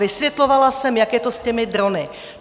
Vysvětlovala jsem, jak je to s těmi drony.